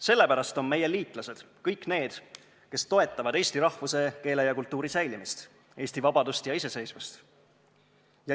Sellepärast on meie liitlased kõik need, kes toetavad eesti rahvuse, keele ja kultuuri säilimist, Eesti vabadust ja iseseisvust.